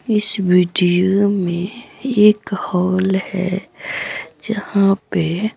इस वीडियो में एक हॉल है जहां पे--